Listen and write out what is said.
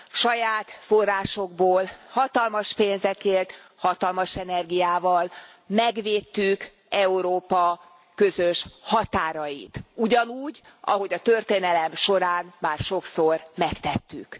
Saját forrásokból, hatalmas pénzekért, hatalmas energiával megvédtük Európa közös határait, ugyanúgy, ahogy a történelem során már sokszor megtettük.